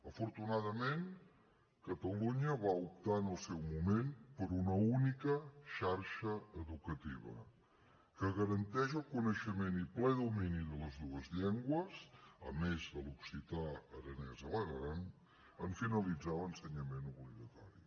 afortunadament catalunya va optar en el seu moment per una única xarxa educativa que garanteix el coneixement i ple domini de les dues llengües a més de l’occità aranès a l’aran en finalitzar l’ensenyament obligatori